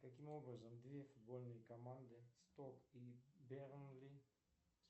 каким образом две футбольные команды стоп и бернли